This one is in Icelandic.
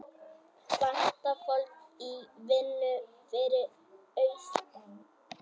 Vantar fólk í vinnu fyrir austan